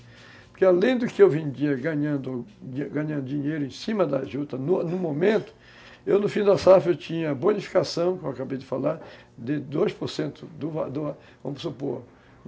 Porque além do que eu vendia ganhando, ganhando dinheiro em cima das jutas, no no momento, eu no fim da safra eu tinha bonificação, como eu acabei de falar, de dois por cento do do valor, vamos supor.